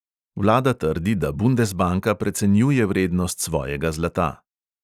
Vlada trdi, da bundesbanka precenjuje vrednost svojega zlata.